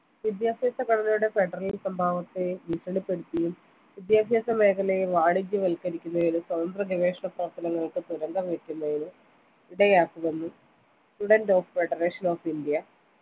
വിദ്യാഭ്യാസ ഘടനയുടെ federal സ്വഭാവത്തെ ഭീഷണിപ്പെടുത്തിയതിനും വിദ്യാഭ്യാസ മേഖലയെ വാണിജ്യവത്ക്കരിക്കുന്നതിനും സ്വതന്ത്ര ഗവേഷണ പ്രവർത്തനങ്ങൾക്ക് തുരങ്കംവെക്കുന്നതിനും ഇടയാക്കുമെന്ന് student of federation of india